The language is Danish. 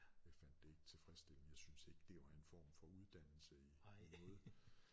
Jeg fandt det ikke tilfredsstillende jeg synes ikke det var en form for uddannelse i i noget